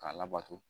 K'a labato